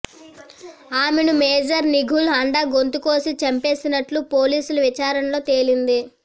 ఆమెను మేజర్ నిఘిల్ హండా గొంతు కోసి చంపేసినట్లు పోలీసుల విచారణలో తేలింది